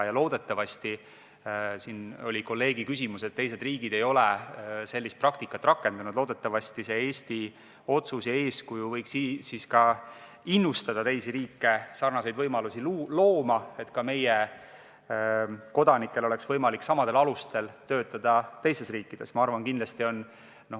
Ja loodetavasti – kolleeg mainis siin, et teised riigid ei ole sellist praktikat rakendanud – innustab Eesti otsus ja eeskuju ka teisi riike sarnaseid võimalusi looma, et meiegi kodanikel oleks võimalik samadel alustel teistes riikides töötada.